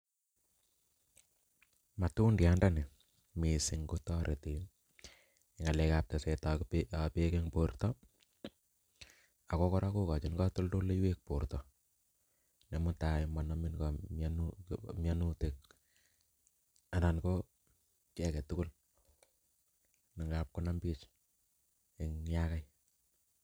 Matudayat ndoni missing ko toreti ngalek ab teset ab beek beek en borto ako Koraa kokochi kotoldoloik borto nemutai monomin mion mionutik anan ko kii agetukul ne ngab konam bik yakai.